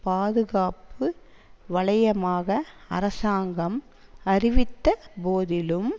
பாதுகாப்பு வலயமாக அரசாங்கம் அறிவித்த போதிலும்